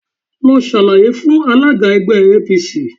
Lọ ṣàlàyé fún alága ẹgbẹ́ APC